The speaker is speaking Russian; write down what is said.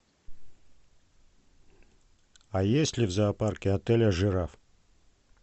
а есть ли в зоопарке отеля жираф